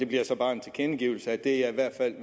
bliver så bare min tilkendegivelse af at det jeg i hvert fald